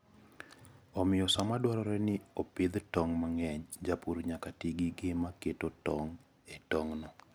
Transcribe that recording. Omiyo, sama dwarore ni opidh tong' mang'eny, japur nyaka ti gi gima keto tong'go e i tong'no.